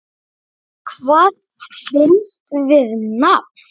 Hvað binst við nafn?